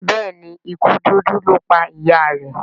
Béèni ikú dúdú lọ pá ìyá rẹ.